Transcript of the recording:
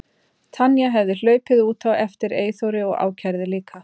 Tanya hefði hlaupið út á eftir Eyþóri og ákærði líka.